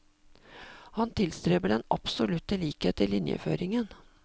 Han tilstreber den absolutte likhet i linjeføringen.